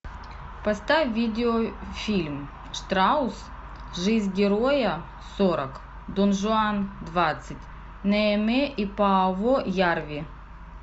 поставь видеофильм штраус жизнь героя сорок дон жуан двадцать неэме и пааво ярви